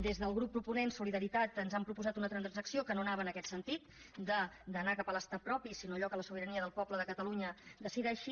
des del grup proponent solidaritat ens han proposat una transacció que no anava en aquest sentit d’anar cap a l’estat propi sinó a allò que la sobirania del poble de catalunya decideixi